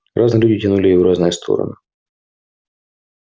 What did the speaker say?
разные люди тянули её в разные стороны